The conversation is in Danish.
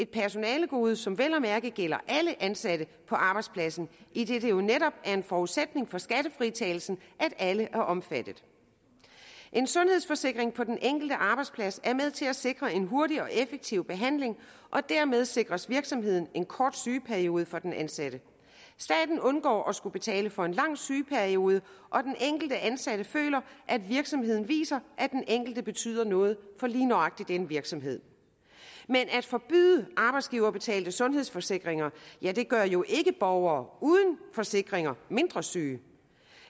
personalegode som vel at mærke gælder alle ansatte på arbejdspladsen idet det jo netop er en forudsætning for skattefritagelsen at alle er omfattet en sundhedsforsikring på den enkelte arbejdsplads er med til at sikre en hurtig og effektiv behandling og dermed sikres virksomheden en kort sygeperiode for den ansatte staten undgår at skulle betale for en lang sygeperiode og den enkelte ansatte føler at virksomheden viser at den enkelte betyder noget for lige nøjagtig den virksomhed men at forbyde arbejdsgiverbetalte sundhedsforsikringer gør jo ikke borgere uden forsikringer mindre syge